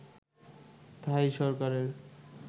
থাই সরকারের